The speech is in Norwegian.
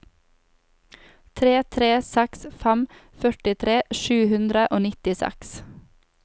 tre tre seks fem førtitre sju hundre og nittiseks